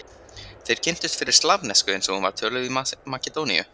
Þeir kynntust fyrst slavnesku eins og hún var töluð í Makedóníu.